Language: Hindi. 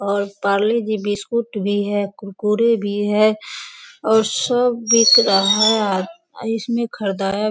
और पार्ले जी बिस्कुट भी है कुरकुरे भी है और सब बिक रहा है इसमें ख़रीदाया --